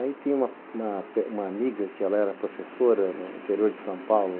Aí tinha uma uma uma amiga que era professora no interior de São Paulo.